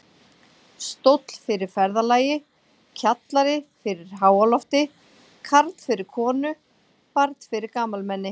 Stóll fyrir ferðalagi, kjallari fyrir háalofti, karl fyrir konu, barn fyrir gamalmenni.